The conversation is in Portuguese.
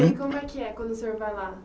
E como é que é quando o senhor vai lá?